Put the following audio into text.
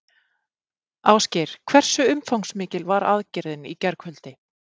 Ásgeir, hversu umfangsmikil var aðgerðin í gærkvöldi?